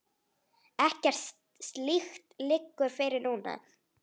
Ekkert slíkt liggur fyrir núna.